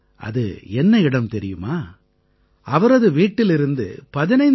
அது என்ன இடம் தெரியுமா அவரது வீட்டிலிருந்து 15 கி